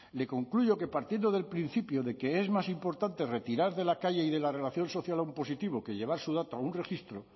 le concluyo que partiendo del principio de que es más importante retirar de la calle y de la relación social a un positivo que llevar su dato a un registro